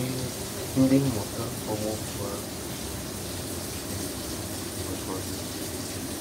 Ee, ndị mmụta ọgbọ mbụ ahụ nwere olileanya siri ike maka ọdịnihu.